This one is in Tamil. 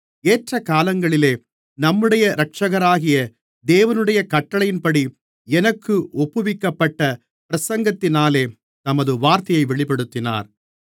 ஏற்றகாலங்களிலே நம்முடைய இரட்சகராகிய தேவனுடைய கட்டளையின்படி எனக்கு ஒப்புவிக்கப்பட்ட பிரசங்கத்தினாலே தமது வார்த்தையை வெளிப்படுத்தினார்